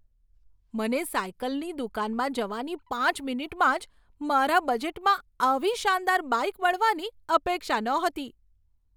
મને સાઈકલની દુકાનમાં જવાની પાંચ મિનિટમાં જ મારા બજેટમાં આવી શાનદાર બાઈક મળવાની અપેક્ષા નહોતી.